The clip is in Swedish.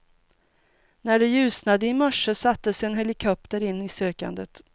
När det ljusnade i morse sattes en helikopter in i sökandet.